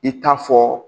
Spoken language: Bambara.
I t'a fɔ